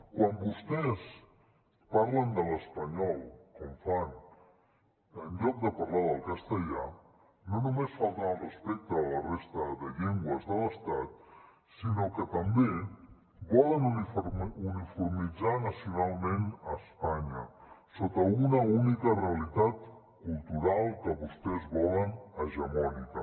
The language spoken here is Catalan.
quan vostès parlen de l’espanyol com fan en comptes de parlar del castellà no només falten al respecte a la resta de llengües de l’estat sinó que també volen uniformitzar nacionalment espanya sota una única realitat cultural que vostès volen hegemònica